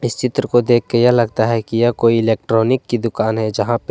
इस चित्र को देख के यह लगता है कि यह कोई इलेक्ट्रॉनिक की दुकान है जहां पे--